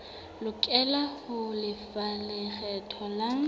lokela ho lefa lekgetho la